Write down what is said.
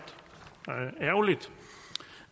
ærgerligt